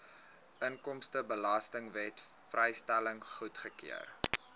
inkomstebelastingwet vrystelling goedgekeur